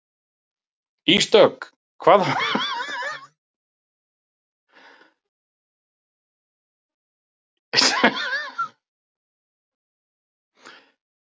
Ísdögg, hvaða vikudagur er í dag?